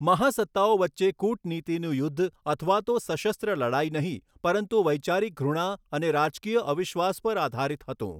મહાસત્તાઓ વચ્ચે કુટનીતિનું યુદ્ધ અથવા તો સશસ્ત્ર લડાઈ નહીં પરંતુ વૈચારિક ધૃણા અને રાજકીય અવિશ્વાસ પર આધારિત હતું.